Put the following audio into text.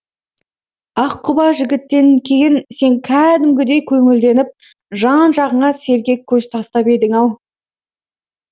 ақ құба жігіттен кейін сен кәдімгідей көңілденіп жан жағыңа сергек көз тастап едің ау